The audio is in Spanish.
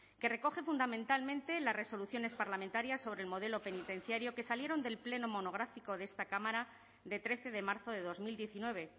que recoge fundamentalmente las resoluciones parlamentarias sobre el modelo penitenciario que salieron del pleno monográfico de esta cámara de trece de marzo de dos mil diecinueve